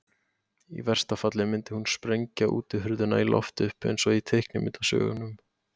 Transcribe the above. Í versta falli myndi hún sprengja útihurðina í loft upp eins og í teiknimyndasögunum.